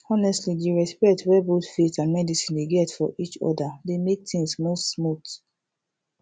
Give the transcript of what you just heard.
honestly di respect wey both faith and medicine dey get for each other dey mek things move smooth